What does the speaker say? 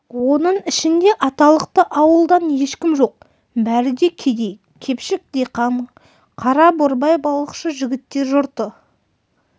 оның ішінде аталықты ауылдан ешкім жоқ бәрі де кедей кепшік диқан қара борбай балықшы жігіттер жұртты